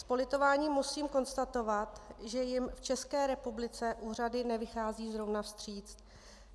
S politováním musím konstatovat, že jim v České republice úřady nevycházejí zrovna vstříc.